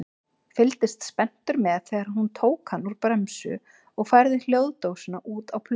Fylgdist spenntur með þegar hún tók hann úr bremsu og færði hljóðdósina út á plötuna.